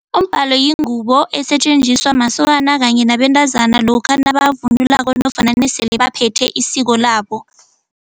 Umbalo yingubo esetjenziswa masokana kanye nabentazana lokha nabavunulako nofana nesele baphethe isiko labo.